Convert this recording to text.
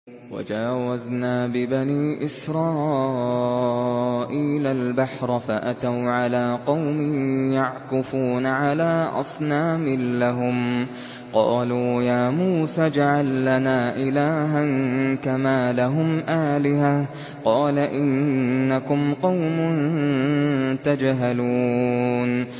وَجَاوَزْنَا بِبَنِي إِسْرَائِيلَ الْبَحْرَ فَأَتَوْا عَلَىٰ قَوْمٍ يَعْكُفُونَ عَلَىٰ أَصْنَامٍ لَّهُمْ ۚ قَالُوا يَا مُوسَى اجْعَل لَّنَا إِلَٰهًا كَمَا لَهُمْ آلِهَةٌ ۚ قَالَ إِنَّكُمْ قَوْمٌ تَجْهَلُونَ